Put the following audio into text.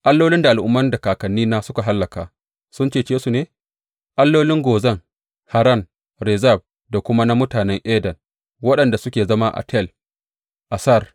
Allolin al’umman da kakannina suka hallaka sun cece su ne, allolin Gozan, Haran, Rezef da kuma na mutanen Eden waɗanda suke zama a Tel Assar?